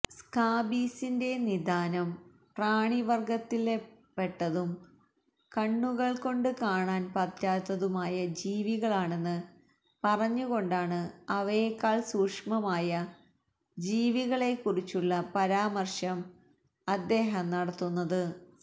സ്കാബീസിന്റെ നിദാനം പ്രാണിവര്ഗത്തില്പെട്ടതും കണ്ണുകള് കൊണ്ട് കാണാന് പറ്റാത്തതുമായ ജീവികളാണെന്ന് പറഞ്ഞുകൊണ്ടാണ് അവയേക്കാള് സൂക്ഷ്മമായ ജീവികളെക്കുറിച്ചുള്ള പരാമര്ശം അദ്ദേഹം നടത്തുന്നത്